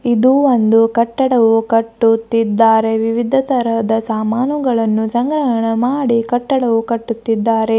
ಇದು ಒಂದು ಕಟ್ಟಡವು ಕಟ್ಟು ತ್ತಿದ್ದಾರೆ ವಿವಿಧ ತರಹದ ಸಾಮಾನುಗಳನ್ನೂ ಸಂಗ್ರಹನ ಮಾಡೀ ಕಟ್ಟಡವು ಕಟ್ಟುತ್ತಿದ್ದಾರೆ.